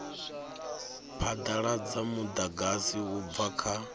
phadaladza mudagasi u bva kha